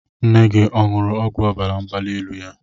Nne gị ọ̀ ṅuru ọgwụ ọbara mgbali elu ya?